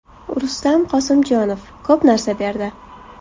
Rustam Qosimjonov: Ko‘p narsa berdi.